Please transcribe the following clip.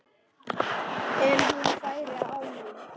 En hún færi án mín.